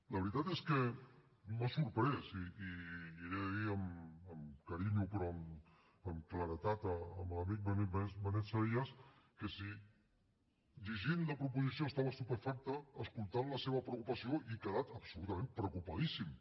la veritat és que m’ha sorprès i li he de dir amb carinyo però amb claredat a l’amic benet salellas que si llegint la proposició estava estupefacte escoltant la seva preocupació he quedat absolutament preocupadíssim